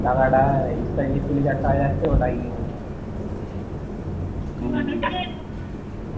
টাকাটা extra যে চল্লিশ হাজার টাকা যাচ্ছে ওটা EMI তে হম